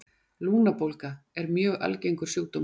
Lungnabólga er mjög algengur sjúkdómur.